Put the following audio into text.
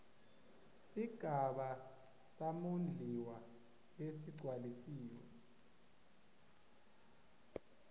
sigaba samondliwa lesigcwalisiwe